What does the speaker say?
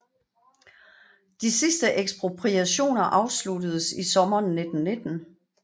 De sidste ekspropriationer afsluttedes i sommeren 1919